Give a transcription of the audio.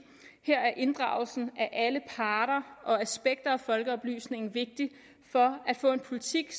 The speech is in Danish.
her er inddragelsen af alle parter og alle aspekter af folkeoplysningen vigtig for at få en politik